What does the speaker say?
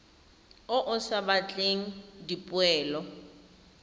o o sa batleng dipoelo